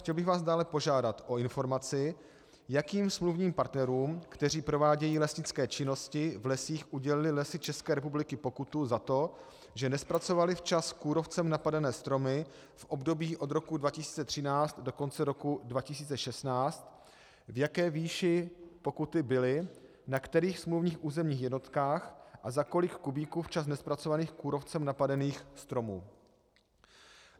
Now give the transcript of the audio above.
Chtěl bych vás dále požádat o informaci, jakým smluvním partnerům, kteří provádějí lesnické činnosti v lesích, udělily Lesy České republiky pokutu za to, že nezpracovaly včas kůrovcem napadené stromy v období od roku 2013 do konce roku 2016, v jaké výši pokuty byly, na kterých smluvních územních jednotkách a za kolik kubíků včas nezpracovaných kůrovcem napadených stromů.